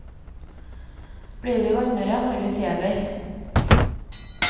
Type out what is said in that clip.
Blir vi varmere, har vi feber.